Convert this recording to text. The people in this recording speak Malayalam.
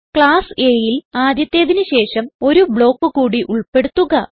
ക്ലാസ് A ൽ ആദ്യത്തേതിന് ശേഷം ഒരു ബ്ലോക്ക് കൂടി ഉൾപ്പെടുത്തുക